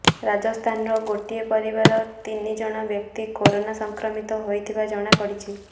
ରାଜସ୍ଥାନର ଗୋଟିଏ ପରିବାରର ତିନି ଜଣ ବ୍ୟକ୍ତି କରୋନା ସଂକ୍ରମିତ ହୋଇଥିବା ଜଣାପଡିଛି